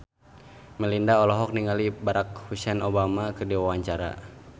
Melinda olohok ningali Barack Hussein Obama keur diwawancara